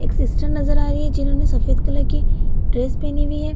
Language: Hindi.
एक सिस्टर नजर आ रही है जिन्होंने सफ़ेद कलर की ड्रेस पेहनी हुई है।